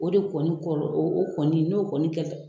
O de kɔni kɔrɔ o kɔni n'o kɔni kɛra